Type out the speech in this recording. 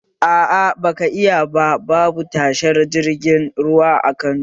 Aa, ba zaka iya ba saboda babu tashar jiragen ruwa a Kano